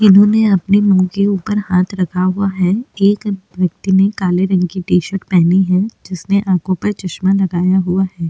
इन्होंने अपने मुँह के ऊपर हाथ रखा हुआ है एक व्यक्ति ने काले रंग की टी शर्ट पहनी है जिसने आखों पर चश्मा लगाया हुआ है।